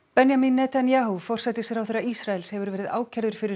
Benjamin Netanyahu forsætisráðherra Ísraels hefur verið ákærður fyrir